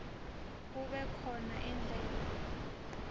kube khona indlela